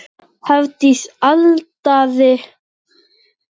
Hafdís Alda endaði önnur.